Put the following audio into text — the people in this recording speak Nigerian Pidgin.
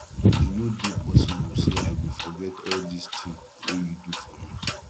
e no dey possible sey i go forget all dis tin wey you do for me